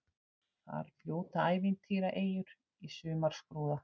Þar fljóta ævintýraeyjur í sumarskrúða.